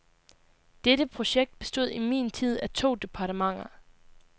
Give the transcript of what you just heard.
Dette projekt bestod i min tid af to departementer.